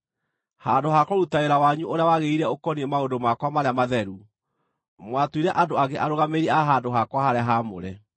Handũ ha kũruta wĩra wanyu ũrĩa wagĩrĩire ũkoniĩ maũndũ makwa marĩa matheru, mwatuire andũ angĩ arũgamĩrĩri a handũ-hakwa-harĩa-haamũre.